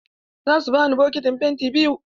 Za su bani bokitin penti biyu.